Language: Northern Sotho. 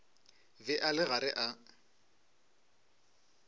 be a le gare a